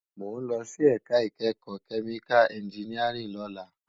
Mó n lòsí èká ikèékò kèmíká ènjìníárìn lòlá